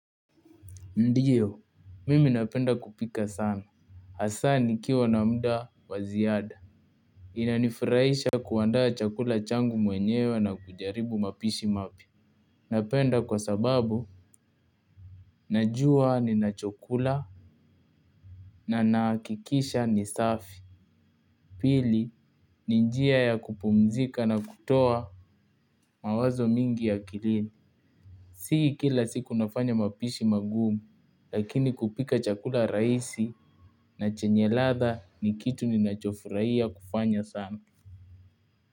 Ndiyo, mimi napenda kupika sana. Hasaa nikiwa na mda wa ziada. Inanifraisha kuandaa chakula changu mwenyewe na kujaribu mapishi mapya. Napenda kwa sababu, najua ninachokula na nahakikisha ni safi. Pili, ni njia ya kupumzika na kutoa mawazo mingi akilini. Si kila siku nafanya mapishi magumu, lakini kupika chakula raisi na chenye ladha ni kitu ninachofuraia kufanya sana.